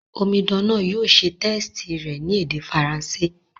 Omidan náà yio se test rẹ̀ ni èdè Faranṣé